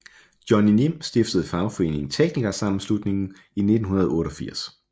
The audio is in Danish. Johnny Nim stiftede fagforeningen TeknikerSammenslutningen i 1988